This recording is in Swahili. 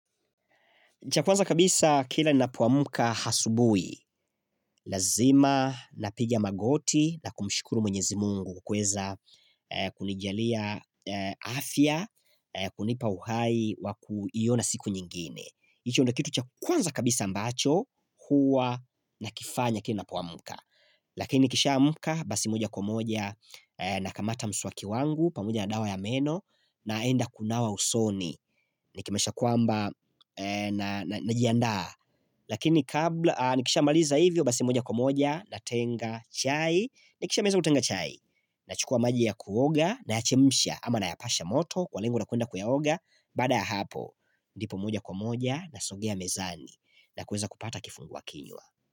Cha kwanza kabisa kila ninapoamka asubui, lazima napigia magoti na kumshukuru mwenyezi Mungu kuweza kunijalia afya, kunipa uhai wakuiona siku nyingine. Hicho ndiyo kitu cha kwanza kabisa ambacho huwa nakifanya kila ninapoamka Lakini nikishaamka basi moja kwa moja nakamata mswaki wangu pamoja na dawa ya meno naenda kunawa usoni Nikimaanisha kwamba najiandaa Lakini kabla, nikishamaliza hivyo basi moja kwa moja natenga chai. Nakishimaliza kutenga chai Nachukua maji ya kuoga nayachemsha ama nayapasha moto kwa lengo la kuenda kuyaoga, baada ya hapo ndipo moja kwa moja nasogea mezani na kuweza kupata kifungua kinywa.